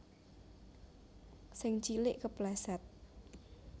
Sing cilik kepleset